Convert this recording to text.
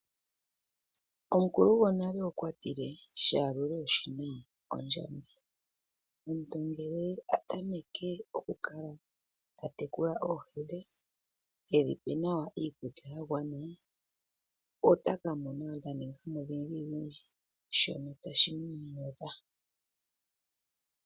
Omukulu gwonale okwatile shayalulwa oshina ondjodhi, omuntu ngele atameke oku kala ta tekula oohi dhe tedhipe nawa iikulya ya gwana otaka mona dha ninga mo odhindjidhindji shoka tashi mu nyanyudha.